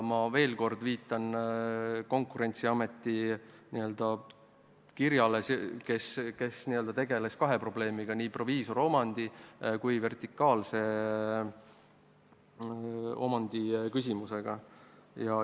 Ma veel kord viitan kirjale, mille saatis Konkurentsiamet, kes tegeles kahe probleemiga, nii proviisoromandi kui ka vertikaalse omandi küsimusega.